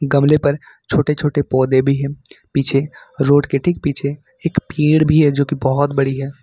गमले पर छोटे छोटे पौधे भी है पीछे रोड के ठीक पीछे एक भीड़ भी है जो की बहुत बड़ी है।